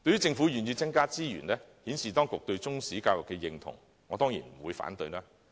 政府願意增加資源，顯示當局對中史教育的認同，我當然不會反對。